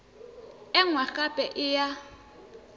e nngwe gape e ya